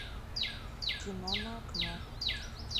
кино на окно